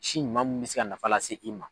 Si ɲuman mun bɛ se ka nafa lase i ma.